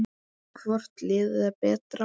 Hvort liðið er betra?